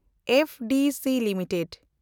FDC limited